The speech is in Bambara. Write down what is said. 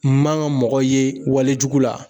N man ka mɔgɔ ye walejugu la